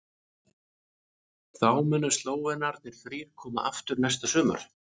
Þá munu Slóvenarnir þrír koma aftur næsta sumar.